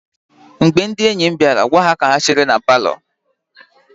Mgbe ndị enyi m bịara, gwa ha ka ha chere na palọ.